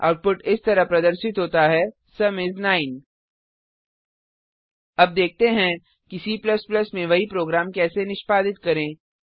output इस तरह प्रदर्शित होता है सुम इस 9 अब देखते हैं कि C में वही प्रोग्राम कैसे निष्पादित करें